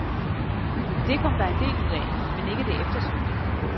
Det kom der en del ud af, men ikke det eftersøgte.